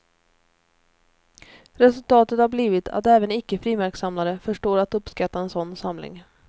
Resultatet har blivit att även icke frimärkssamlare förstår att uppskatta en sådan samling.